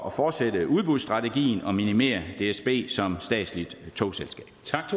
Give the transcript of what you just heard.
at fortsætte udbudsstrategien og minimere dsb som statsligt togselskab